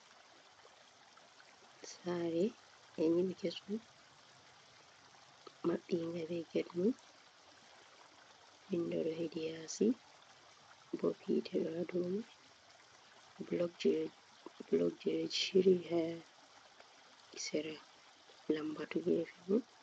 Sare ɓe nyiɓi kesum maɓɓinga be get mun windo ɗo hedi yasi bob hite ɗo ha dow mai blok ji ɗo shiryi ha sera lambatu gefe ni.